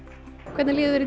hvernig líður